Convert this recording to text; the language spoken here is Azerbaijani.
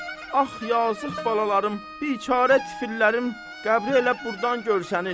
Ax yazıq balalarım, biçara tifillərim qəbri elə burdan görsənir.